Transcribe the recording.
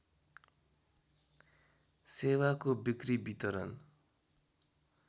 सेवाको बिक्री वितरण